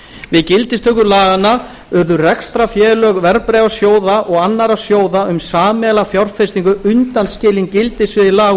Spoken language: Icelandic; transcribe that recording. við gildistöku laganna urðu rekstrarfélög verðbréfasjóða og annarra sjóða um sameiginlega fjárfestingu undanskilin gildissviði laga